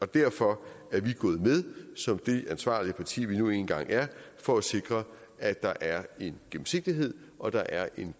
derfor er vi gået med som det ansvarlige parti vi nu engang er for at sikre at der er en gennemsigtighed og der er en